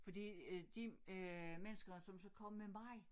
Fordi øh de øh mennesker som så kom med mig